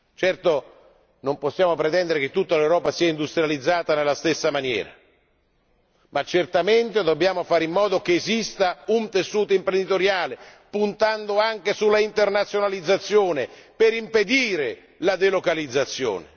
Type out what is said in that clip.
Certo, non possiamo pretendere che tutta l'Europa sia industrializzata nella stessa maniera ma certamente dobbiamo fare in modo che esista un tessuto imprenditoriale, puntando anche sulla internazionalizzazione, per impedire la delocalizzazione.